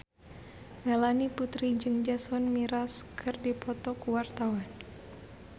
Melanie Putri jeung Jason Mraz keur dipoto ku wartawan